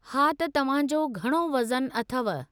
हा त तव्हां जो घणो वज़नु अथव?